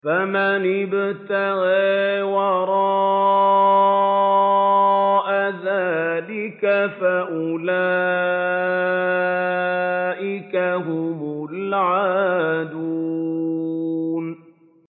فَمَنِ ابْتَغَىٰ وَرَاءَ ذَٰلِكَ فَأُولَٰئِكَ هُمُ الْعَادُونَ